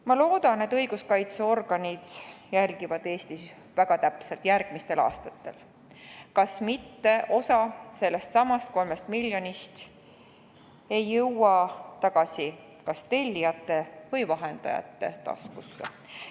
Ma loodan, et Eesti õiguskaitseorganid jälgivad järgmistel aastatel väga täpselt, kas mitte osa sellestsamast 3 miljonist ei jõua tagasi tellijate või vahendajate taskusse.